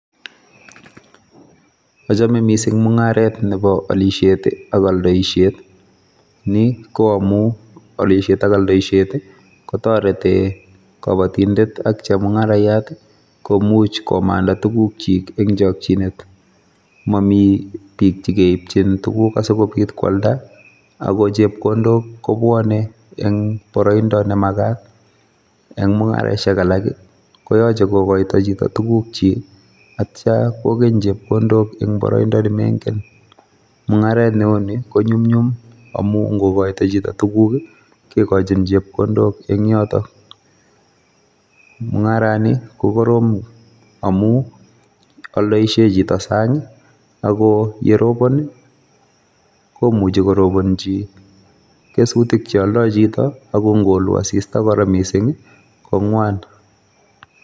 Achome missing mungaret nebo olisiet ak oldoisiet, ni ko amun ko olisiet ak oldoisiet kotoretii kobotindet ak chemungarayat komuch komandaa tuguukchik en chokchinet. Momi biik chekeibchin tuguuk asikobiit koaldaa ako chepkondok kobwone en boroindo nemakat. Eng mungaraisiek alak koyoche kokoito chito tugukchik ak yeityoo koalda en boroindoo inegen. Mungaret neuni amu ingokoito chito tuguuk kigochin chepkondok en yotoon. Mungarani ko koroom amun oldoisie chito en sang ako yerobon komuchi korobonyii kesutik cheoldoo chito, ako ingoluu asista kora missing i ko ngwaan